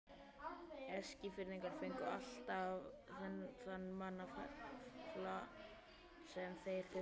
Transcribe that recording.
Eskfirðingar fengu alltaf þann mannafla sem þeir þurftu.